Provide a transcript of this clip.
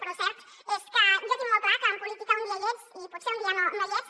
però el cert és que jo tinc molt clar que en política un dia hi ets i potser un dia no hi ets